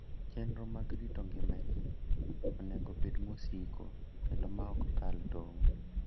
Chenro mag rito ngima ji onego obed masiko kendo maok kal tong'.